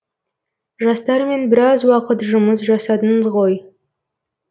жастармен біраз уақыт жұмыс жасадыңыз ғой